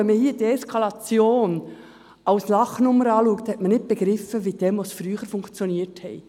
Wenn man hier Deeskalation als Lachnummer betrachtet, hat man nicht begriffen, wie Demonstrationen früher funktionierten.